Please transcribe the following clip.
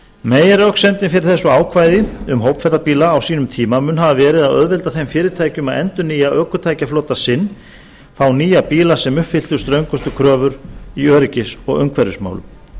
meginröksemdin fyrir þessu ákvæði um hópferðabíla á sínum tíma mun hafa verið að auðvelda þeim fyrirtækjum að endurnýja ökutækjaflota sinn fá nýja bíla sem uppfylltu ströngustu kröfur í öryggis og umhverfismálum